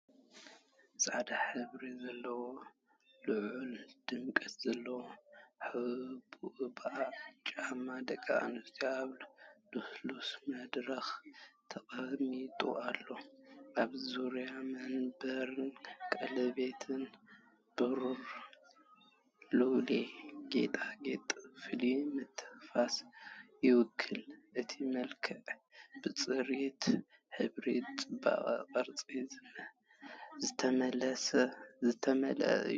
ጻዕዳ ሕብሪ ዘለዎም፡ ልዑል ድምቀት ዘለዎም፡ ሑቡባት ጫማታት ደቂ ኣንስትዮ ኣብ ልስሉስ መድረኽ ተቐሚጦም ኣለዉ። ኣብ ዙርያ መንበርን ቀለቤትን ብሩር ሉል ጌጣጌጥ ፍሉይ ምትንኻፍ ይውስኽ፤ እቲ መልክዕ ብጽሬት ሕብርን ጽባቐ ቅርጽን ዝተመልአ እዩ።